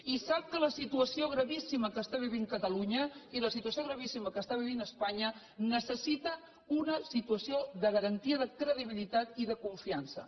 i sap que la situació gravíssima que està vivint catalunya i la situació gravíssima que està vivint espanya necessiten una situació de garantia de credibilitat i de confiança